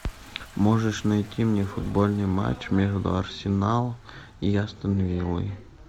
можешь найти мне футбольный матч между арсенал и астон виллой